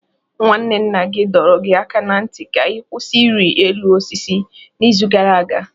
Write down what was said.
Nwanne nna gị dọrọ gị aka ná ntị ka ị kwụsị ịrị elu osisi n'izu gara aga.